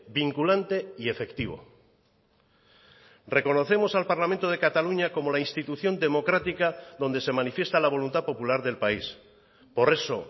vinculante y efectivo reconocemos al parlamento de cataluña como la institución democrática donde se manifiesta la voluntad popular del país por eso